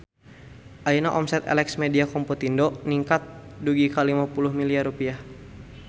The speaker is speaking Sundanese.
Ayeuna omset Elex Media Komputindo ningkat dugi ka 50 miliar rupiah